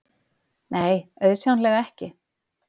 Nei, auðsjáanlega ekki.